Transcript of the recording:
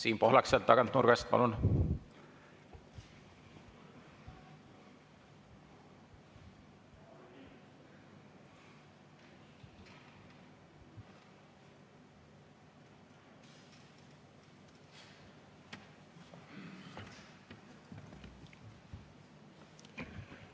Siim Pohlak sealt tagant nurgast, palun!